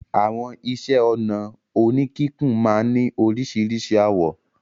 Àwọn iṣẹ́-ọnà oníkíkùn máa ń ní oríṣiríṣi àwọ̀.